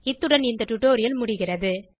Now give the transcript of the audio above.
இத்துடன் இந்த டுடோரியல் முடிகிறது